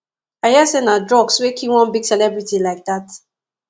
i hear say na drugs wey kill one big celebrity like dat